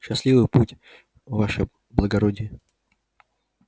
счастливый путь ваше благородие